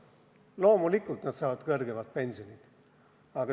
Loomulikult nad saavad suuremat pensioni.